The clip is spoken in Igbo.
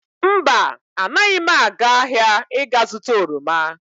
Mba, anaghị m aga ahịa ị ga-zụta oroma.